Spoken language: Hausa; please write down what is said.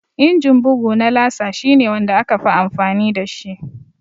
Inji bugu na laser shi ne wanda aka fi amfani dashi